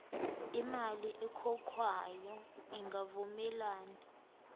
imali ekhokhwayo ingavumelani